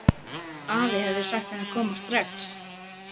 Afi hefði sagt henni að koma strax.